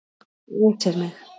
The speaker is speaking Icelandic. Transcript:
Æsir mig.